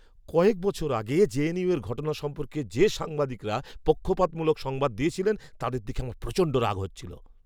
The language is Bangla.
কয়েক বছর আগে জেএনইউয়ের ঘটনা সম্পর্কে যে সাংবাদিকরা পক্ষপাতমূলক সংবাদ দিয়েছিলেন, তাদের দেখে আমার প্রচণ্ড রাগ হচ্ছিল।